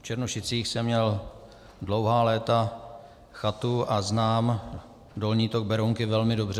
V Černošicích jsem měl dlouhá léta chatu a znám dolní tok Berounky velmi dobře.